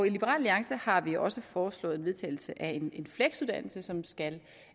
i liberal alliance har vi også foreslået en vedtagelse af en fleksuddannelse som skal